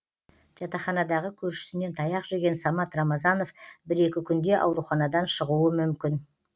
жатақханадағы көршісінен таяқ жеген самат рамазанов бір екі күнде ауруханадан шығуы мүмкін